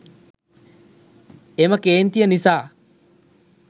එම කේන්තිය නිසා